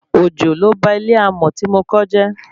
Òjò ló ba ilé alámọ̀ tí mo kọ́ jẹ́